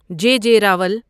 جے J Rawal